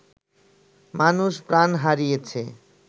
মানুষ প্রাণ হারিয়েছে